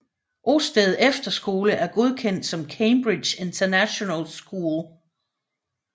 Osted Efterskole er godkendt som Cambridge International School